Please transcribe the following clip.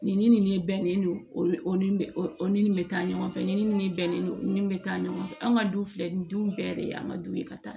Nin ni nin bɛnnen don ni o ni nin bɛ taa ɲɔgɔn fɛ nin ni nin ni nin bɛnnen don nin ni nin bɛ taa ɲɔgɔn fɛ an ka du filɛ nin du bɛɛ de ye an ka du ye ka taa